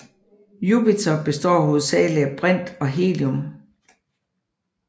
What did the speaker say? Jupiter består hovedsageligt af brint og helium